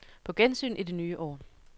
På gensyn i det nye år.